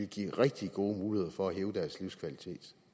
give rigtig gode muligheder for at hæve deres livskvalitet